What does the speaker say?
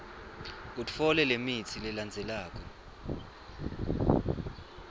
utfole lemitsi lelandzelako